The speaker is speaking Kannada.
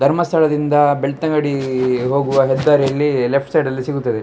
ಧರ್ಮಸ್ಥಳದಿಂದ ಬೆಳ್ತಂಗಡೀ ಹೋಗುವ ಹೆದ್ದಾರಿಯಲ್ಲಿ ಲೆಫ್ಟ್ ಸೈಡಲ್ಲಿ ಸಿಗುತ್ತದೆ.